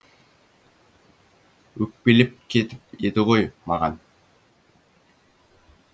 өкпелеп кетіп еді ғой маған